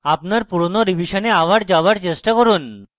আপনার পুরোনো revision আবার যাওযার চেষ্টা করুন